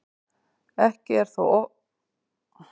Ekki er þó óttast að þeir hafi farist eða slasast.